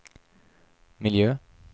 miljö